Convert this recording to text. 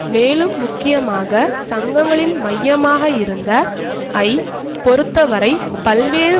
மேலும் முக்கியமாக சங்கங்களின் மையமாக இருந்த ஐ பொறுத்த வரை பல்வேறு